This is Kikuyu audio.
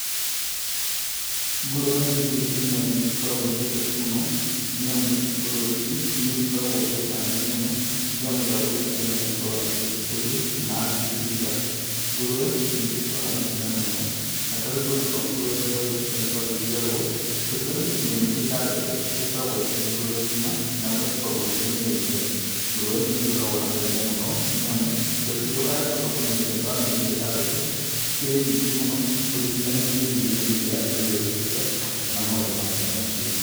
Ngũrũwe nĩ kĩndũ kĩmwe niĩ ngoragwo nyendete mũno nĩ amu ngũrũwe ici nĩigĩkoragwo bainda nene mũno rĩrĩa mũndũ agũgĩtwĩka nĩagũkorwo agĩcikũria kana agĩgĩciga ngũrũwe nĩigĩkũraga na ihenya mũno na tarĩu twana twa ngũrũwe twa gĩtwĩka nĩ twa gĩciarwo tukiũga nĩgũkinyia mĩeri ĩtandatũ igĩkoragwo ĩ ngũrũwe ng'ima na ũgagĩkorwo ũkĩmĩendia. Ngũrũwe ĩno nĩgĩkoragwo na bainda mũno nĩamũ mbeca iria wacoka kũmĩendia thutha wa mĩeri io ĩtandatũ cikĩrĩ nyingĩ mũno ũringithanĩtie hihi na irio iria irakorirwo ĩgĩkĩrĩa kana maũndũ mangĩ ta macio.